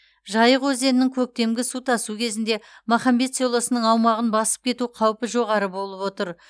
жайық өзенінің көктемгі су тасу кезінде махамбет селосының аумағын басып кету қаупі жоғары болып отыр